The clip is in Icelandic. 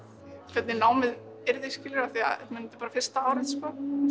hvernig námið yrði þetta er bara fyrsta árið sem